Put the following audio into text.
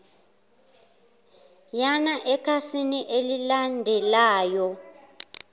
yana ekhasini elilandelayo